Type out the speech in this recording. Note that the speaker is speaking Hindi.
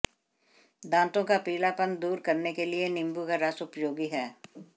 दांतों का पीलापन दूर करने के लिए नींबू का रस उपयोगी है